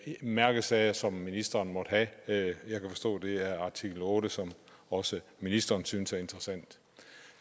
mærkesager som ministeren måtte have jeg kan forstå at det er artikel otte som også ministeren synes er interessant